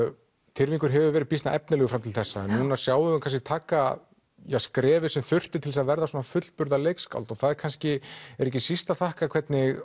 Tyrfingur hefur verið býsna efnilegur til þessa en nú sjáum við hann kannski taka skrefið sem þurfti til að verða fullburða leikskáld og það kannski ekki síst að þakka hvernig